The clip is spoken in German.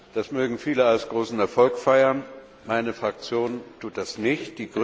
Das mögen viele als großen Erfolg feiern, meine Fraktion tut das nicht.